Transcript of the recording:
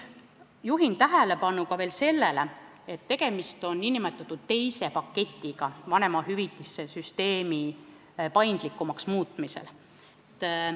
Juhin tähelepanu veel sellele, et tegemist on nn teise paketiga vanemahüvitiste süsteemi paindlikumaks muutmisel.